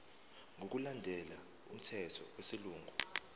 ngokulandela umthetho wesilungu